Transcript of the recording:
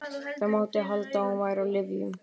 Það mátti halda að hún væri á lyfjum.